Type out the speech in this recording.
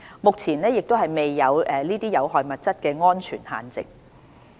目前亦未有這些有害物質的安全限值。